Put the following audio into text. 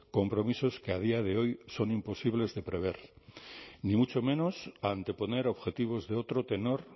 compromisos que a día de hoy son imposibles de prever ni mucho menos anteponer objetivos de otro tenor